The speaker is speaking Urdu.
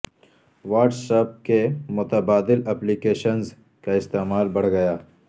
واٹس ایپ کی متبادل ایپلیکیشنز کا استعمال بڑھ گیا